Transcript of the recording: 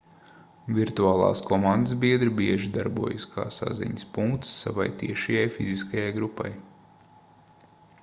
virtuālās komandas biedri bieži darbojas kā saziņas punkts savai tiešajai fiziskajai grupai